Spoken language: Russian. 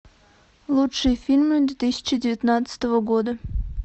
лучшие фильмы две тысячи девятнадцатого года